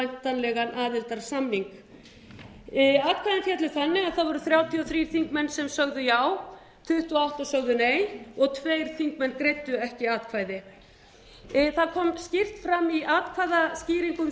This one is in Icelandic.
um væntanlegan aðildarsamning atkvæði féllu þannig að það voru þrjátíu og þrír þingmenn sem sögðu já tuttugu og átta sögðu nei og tveir þingmenn greiddu ekki atkvæði það kom skýrt fram í atkvæðaskýringum